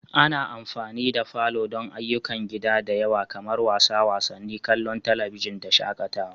Ana amfani da falo don ayyukan gida da yawa kamar wasa wasanni, kallon talabijin da shakatawa.